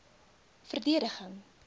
verdediging